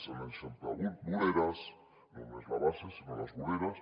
s’han eixamplat voreres no només la base sinó les voreres